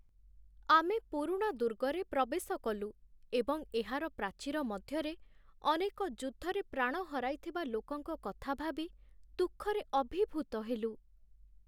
ଆମେ ପୁରୁଣା ଦୁର୍ଗରେ ପ୍ରବେଶ କଲୁ, ଏବଂ ଏହାର ପ୍ରାଚୀର ମଧ୍ୟରେ ଅନେକ ଯୁଦ୍ଧରେ ପ୍ରାଣ ହରାଇଥିବା ଲୋକଙ୍କ କଥା ଭାବି ଦୁଃଖରେ ଅଭିଭୂତ ହେଲୁ।